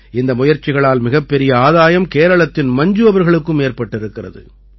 இந்த முயற்சிகளால் மிகப்பெரிய ஆதாயம் கேரளத்தின் மஞ்சு அவர்களுக்கும் ஏற்பட்டிருக்கிறது